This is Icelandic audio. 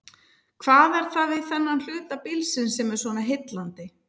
Hvað er það við þennan hluta bílsins sem er svona heillandi?